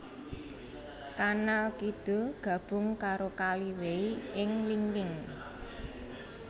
Kanal kidul gabung karo Kali Wei ing Linqing